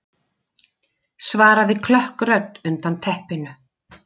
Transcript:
svaraði klökk rödd undan teppinu.